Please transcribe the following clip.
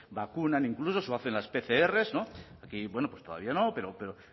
vacunan incluso o hacen las pcr y bueno pues todavía no pero